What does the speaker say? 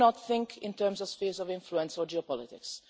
We do not think in terms of spheres of influence or geopolitics.